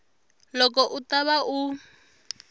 loko u ta va u